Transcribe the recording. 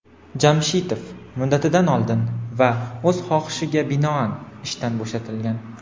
Jamshitov "muddatidan oldin" va "o‘z xohishiga binoan" ishdan bo‘shatilgan.